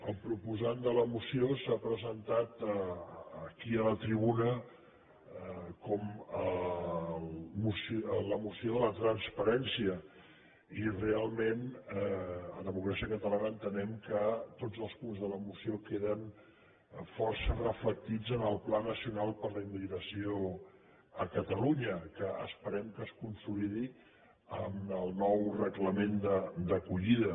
el proposant de la moció l’ha presentat aquí a la tribuna com la moció de la transparència i realment a democràcia catalana entenem que tots els punts de la moció que·den força reflectits en el pla nacional per la immigra·ció a catalunya que esperem que es consolidi en el nou reglament d’acollida